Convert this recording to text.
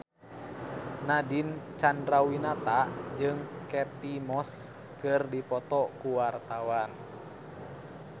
Nadine Chandrawinata jeung Kate Moss keur dipoto ku wartawan